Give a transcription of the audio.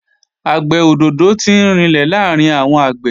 Àgbẹ̀ òdòdó tí ń rinlẹ̀ làárín àwọn àgbẹ̀